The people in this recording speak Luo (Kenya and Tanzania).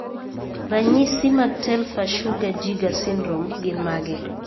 Ranyisi mag Telfer Sugar Jaeger syndrome gin mage?